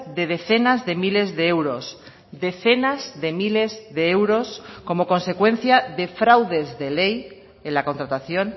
de decenas de miles de euros decenas de miles de euros como consecuencia de fraudes de ley en la contratación